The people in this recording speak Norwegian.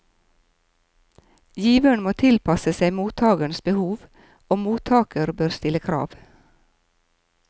Giveren må tilpasse seg mottagerens behov, og mottager bør stille krav.